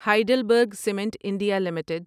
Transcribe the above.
Heidelberg cement India limited